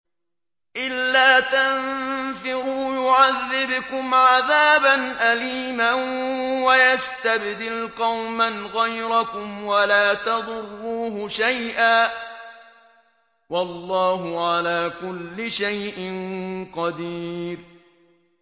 إِلَّا تَنفِرُوا يُعَذِّبْكُمْ عَذَابًا أَلِيمًا وَيَسْتَبْدِلْ قَوْمًا غَيْرَكُمْ وَلَا تَضُرُّوهُ شَيْئًا ۗ وَاللَّهُ عَلَىٰ كُلِّ شَيْءٍ قَدِيرٌ